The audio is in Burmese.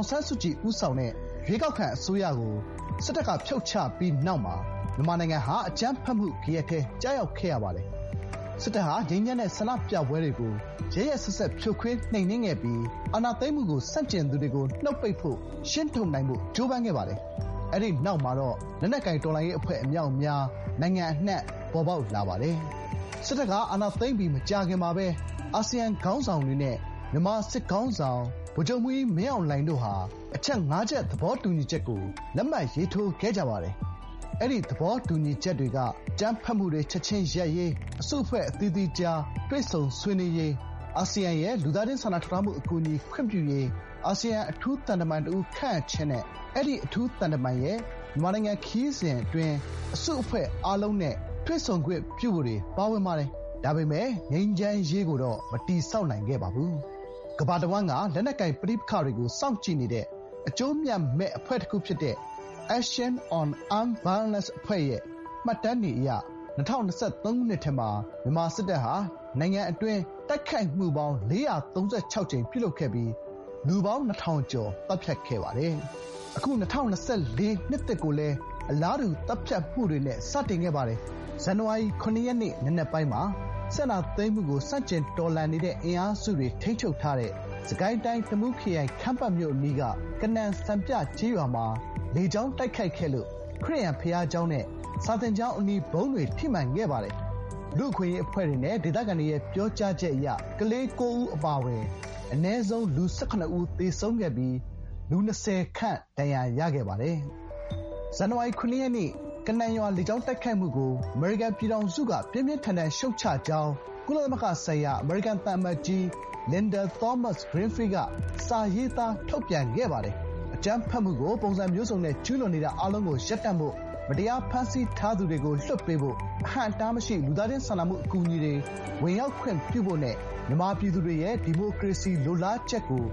င်ဆန်းစုကြည် ဦးဆောင်တဲ့ ရွေးကောက်ခံအစိုးရကို စစ်တပ်က ဖြုတ်ချပြီးနောက်မှာ မြန်မာနိုင်ငံမှာ အကြမ်းဖက်မှု ဂယက်ထဲ ကျရောက်ခဲ့ရပါတယ်။ စစ်တပ်ဟာ ငြိမ်းချမ်းတဲ့ ဆန္ဒပြပွဲတွေကို ရက်ရက်စက်စက် ဖြိုခွဲ နှိမ်နင်းခဲ့ပြီး အာဏာသိမ်းမှုကို ဆန့်ကျင်သူတွေကို နှုတ်ပိတ်ဖို့၊ ရှင်းထုတ်နိုင်ဖို့ ကြိုးပမ်းခဲ့ပါတယ်။ အဲဒီနောက်မှာတော့ လက်နက်ကိုင် တော်လှန်ရေး အဖွဲ့ အမြောက်အမြား နိုင်ငံအနှံ့ ပေါ်ပေါက်လာပါတယ်။ စစ်တပ်က အာဏာသိမ်းပြီး မကြာခင်မှာပဲ အာဆီယံခေါင်းဆောင်တွေနဲ့ မြန်မာစစ်ခေါင်းဆောင် ဗိုလ်ချုပ်မှူးကြီး မင်းအောင်လှိုင် တို့ဟာ အချက်ငါးချက် သဘောတူညီချက်ကို လက်မှတ် ရေးထိုးခဲ့ကြပါတယ်။ အဲဒီသဘောတူညီချက်တွေက အကြမ်းဖက်မှုတွေ ချက်ချင်းရပ်ရေး၊ အစုအဖွဲ့အသီးသီးကြား တွေ့ဆုံဆွေးနွေးရေး၊ အာဆီယံရဲ့ လူသားချင်းစာနာထောက်ထားမှုအကူအညီ ခွင့်ပြုရေး၊ အာဆီယံအထူးသံတမန်တဦးခန့်အပ်ခြင်းနဲ့ အဲဒီ အထူးသံတမန်ရဲ့ မြန်မာနိုင်ငံခရီးစဥ် အစုအဖွဲ့ အားလုံးနဲ့ တွေ့ဆုံ ခွင့်ပြုဖို့တွေ ပါဝင်ပါတယ်။ ဒါပေမယ့် ငြိမ်းချမ်းရေးကိုတော့ မတည်ဆောက်နိုင်ခဲ့ပါဘူး။ ကမ္ဘာတဝန်းက လက်နက်ကိုင်ပဋိပက္ခတွေကို စောင့်ကြည့်နေတဲ့ အကျိုးအမြတ်မဲ့ အဖွဲ့တခုဖြစ်တဲ့ Action on Armed Violence ရဲ့ မှတ်တမ်းတွေအရ ၂၀၂၃ ခုနှစ်ထဲမှာ မြန်မာစစ်တပ်ဟာ နိုင်ငံအတွင်း တိုက်ခိုက်မှုပေါင်း ၄၃၆ ကြိမ် ပြုလုပ်ခဲ့ပြီး လူပေါင်း ၂,၀၀၀ ကျော် သတ်ဖြတ်ခဲ့ပါတယ်။ အခု နှစ်သစ်ကိုလည်း အလားတူ သတ်ဖြတ်မှုတွေနဲ့ စတင်ခဲ့ပါတယ်။ ဇန်န၀ါရီလ ၇ ရက်နေ့ နံနက်ပိုင်းမှာ စစ်ကိုင်းတိုင်း၊ တမူးခရိုင်၊ ခမ်းပတ်မြို့အနီးက ကနန်စံပြကျေးရွာမှာ လေကြောင်းတိုက်ခိုက်ခဲ့လို့ ခရစ်ယာန် ဘုရားကျောင်းနဲ့ စာသင်ကျောင်း အနီး ဗုံးတွေ ထိမှန်ခဲ့ပါတယ်။ လူ့အခွင့်အရေးအဖွဲ့တွေနဲ့ ဒေသခံတွေရဲ့ ပြောကြားချက်အရ ကလေး၉ ဦး အပါအဝင် အနည်းဆုံး လူ ၁၇ ဦး သေဆုံးခဲ့ပြီး လူ ၂၀ ခန့် ဒဏ်ရာရခဲ့ပါတယ်။ “ဇန်နဝါရီ ၇ ရက် ကနန်ရွာ လေကြောင်းတိုက်ခိုက်မှုကို အမေရိကန်ပြည်ထောင်စုက ပြင်းပြင်းထန်ထန် ရှုတ်ချကြောင်း” ကုလသမဂ္ဂဆိုင်ရာ အမေရိကန် သံအမတ်ကြီး လင်ဒါ သောမတ်စ်-ဂရင်းဖီးလ်က လည်း စာရေးသား ထုတ်ပြန်ခဲ့ပါတယ်။ “အကြမ်းဖက်မှုကို ပုံစံမျိုးစုံနဲ့ ကျူးလွန်နေတာ အားလုံးကိုရပ်တန့်ဖို့၊မတရား ဖမ်းဆီးထားသူတွေကို လွှတ်ပေးဖို့၊ အဟန့်အတားမရှိ လူသားချင်းစာနာမှု အကူအညီတွေ ဝင်ရောက်ခွင့်ပြုဖို့နဲ့ မြန်မာပြည်သူတွေရဲ့ ဒီမိုကရေစီ လိုလားချက်ကို